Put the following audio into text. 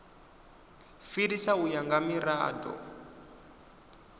fhirisa u ya nga mirado